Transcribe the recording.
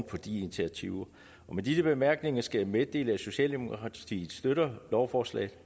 på de initiativer og med disse bemærkninger skal jeg meddele at socialdemokratiet støtter lovforslaget